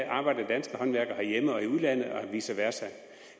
arbejder danske håndværkere herhjemme og i udlandet og vice versa